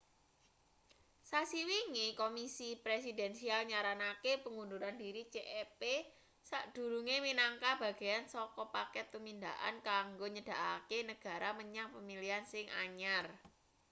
sasi wingi komisi presidensial nyaranake pengunduran diri cep sakdurunge minangka bagean saka paket tumindakan kanggo nyedhakake negara menyang pemilihan sing anyar